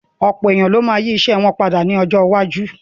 Ọ̀pọ̀ èèyàn ló ma yí ìṣe wọn padà ní ọjọ́ iwájú